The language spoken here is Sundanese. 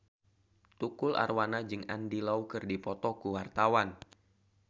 Tukul Arwana jeung Andy Lau keur dipoto ku wartawan